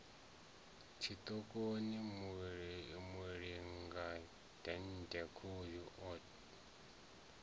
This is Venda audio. tshiṱokoni mulindagehte khoyu o no